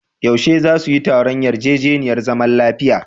Yaushe za su yi taron yarjejeniyar zaman lafiya?